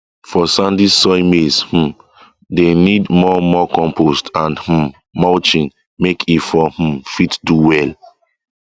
for sandy soil maize um dey need more more compost and um mulching make e for um fit do well